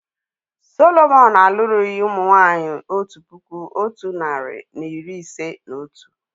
Sọlọmọn alụrụghi ụmụ nwanyị otu puku otu nari na iri ise na otu